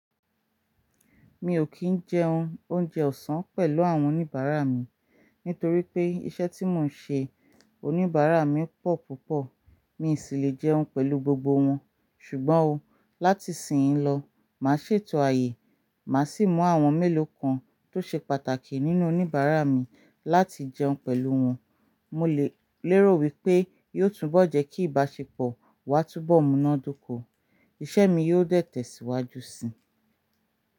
Mi ò kì n jẹun oúnjẹ ọ̀sán pẹ̀lú àwọn oníbàárà mi. Nítorí pé iṣẹ́ tí mò ń ṣe, oníbàárà mi pọ̀ púpọ̀. Mi i sì lè jẹun pẹ̀lú gbogbo wọn. Ṣùgbọ́n ó láti ìsìnyií lọ, màá ṣètò ààyè. Màá sì mú àwọn mélòó kan tó ṣe pàtàkì nínú oníbàárà mi láti jẹun pẹ̀lú wọn. Mo lè lérò wípé yóò túnbọ̀ jẹ́ kí ìbáṣepọ̀ wa túnbọ̀ múnádóko. Iṣẹ́ mi yóò dẹ̀ tẹ̀síwájú si.